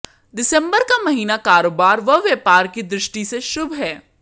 दिसंबर का महीना कारोबार व व्यापार की दृष्टि से शुभ है